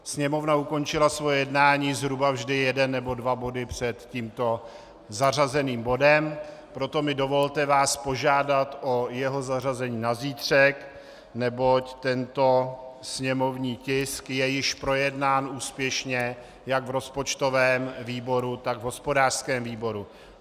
Sněmovna ukončila svoje jednání zhruba vždy jeden nebo dva body před tímto zařazeným bodem, proto mi dovolte vás požádat o jeho zařazení na zítřek, neboť tento sněmovní tisk je již projednán úspěšně jak v rozpočtovém výboru, tak v hospodářském výboru.